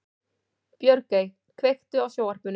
Björgey, kveiktu á sjónvarpinu.